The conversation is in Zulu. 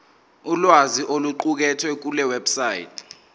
ulwazi oluqukethwe kulewebsite